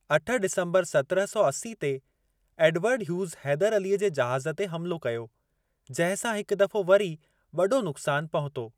अठ डिसंबर सत्रहं सौ असी ते, एडवर्ड ह्यूज़ हैदर अलीअ जे जहाज़ ते हमलो कयो जहिं सां हिक दफ़ो वरी वॾो नुक़्सान पहुतो।